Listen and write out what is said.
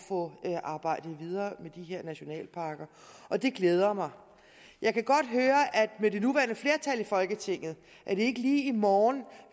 få arbejdet videre med de her nationalparker og det glæder mig jeg kan godt høre at med det nuværende flertal i folketinget er det ikke lige i morgen